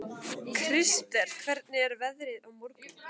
Krister, hvernig er veðrið á morgun?